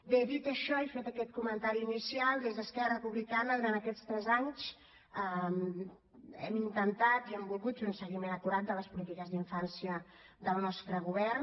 bé dit això i fet aquest comentari inicial des d’esquerra republicana durant aquests tres anys hem intentat i hem volgut fer un seguiment acurat de les polítiques d’infància del nostre govern